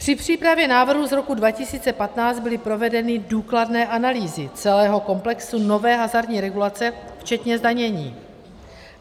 Při přípravě návrhu z roku 2015 byly provedeny důkladné analýzy celého komplexu nové hazardní regulace včetně zdanění.